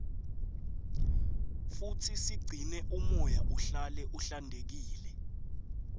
futsi sigcine umoya uhlale uhlantekile